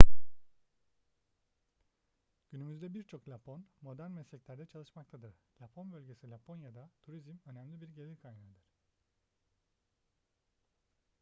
günümüzde birçok lapon modern mesleklerde çalışmaktadır lapon bölgesi laponya'da turizm önemli bir gelir kaynağıdır